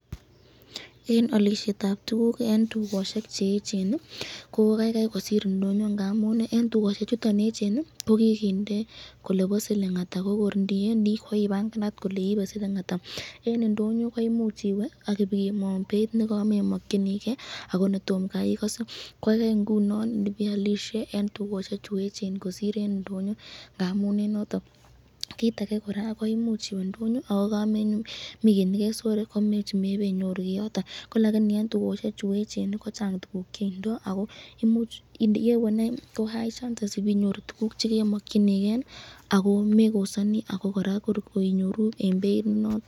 Eng alisyetab tukuk eng tukoshek cheechen ii ko kaikai kosir ndonyo ngaapi ii eng tukoshek chuton echen ii, kokikinde kole bo siling ata , ko kor indiwendi koibanganat kole iibe siling ata, eng indoyo imuch iwe akemwaun beit nekamemankyiniken ako netomo kai ikase kokaikai ingunon nibealisye eng tukoshek chu echen kosir eng ndonyo ,kit age kora koimuch iwee agomenyoru kit nekesore , lakini eng tukoshek cheechen ko Chang tukuk cheindo ko yewe ko high chances ibenyoru kit nekemakyiniken ako mekosani ako koraa eng beit nenoton.